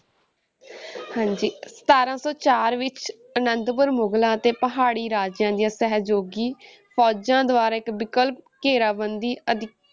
ਹਾਂਜੀ ਸਤਾਰਾਂ ਸੌ ਚਾਰ ਵਿੱਚ ਆਨੰਦਪੁਰ ਮੁਗਲਾਂਂ ਤੇ ਪਹਾੜੀ ਰਾਜਿਆਂ ਦੀਆਂ ਸਹਿਯੋਗੀ ਫ਼ੌਜਾਂ ਦੁਆਰਾ ਇੱਕ ਵਿਕਲਪ ਘੇਰਾਬੰਦੀ ਅਧੀ~